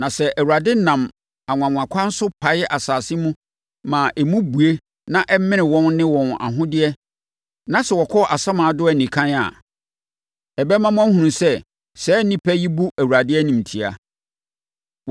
Na sɛ Awurade nam anwanwakwan so pae asase mu ma emu bue na ɛmene wɔn ne wɔn ahodeɛ na sɛ wɔkɔ asamando anikann a, ɛbɛma moahunu sɛ, saa nnipa yi bu Awurade animtia.”